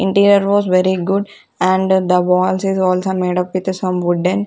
interior was very good and the walls is also made up with some wooden --